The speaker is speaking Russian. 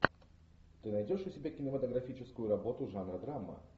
ты найдешь у себя кинематографическую работу жанра драма